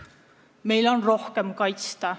Meil on vaja end rohkem kaitsta.